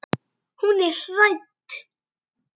Hún er hrædd.